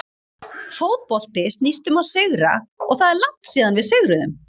Fótbolti snýst um að sigra og það er langt síðan við sigruðum.